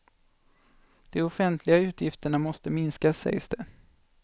De offentliga utgifterna måste minskas, sägs det.